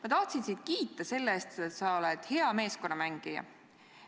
Ma tahtsin sind kiita selle eest, et sa oled hea meeskonnamängija.